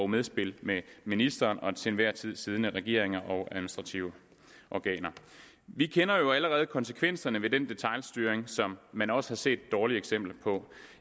medspil med ministeren og den til enhver tid siddende regering og administrative organer vi kender jo allerede konsekvenserne ved den detailstyring som man også har set dårlige eksempler på